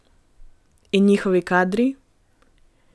In njihovi kadri?